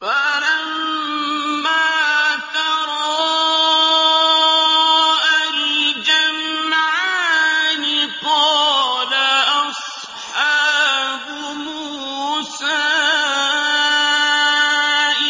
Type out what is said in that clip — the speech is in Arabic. فَلَمَّا تَرَاءَى الْجَمْعَانِ قَالَ أَصْحَابُ مُوسَىٰ